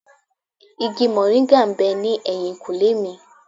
Igi mòríńgà ń bẹ ní ẹ̀yìnkùlé mi.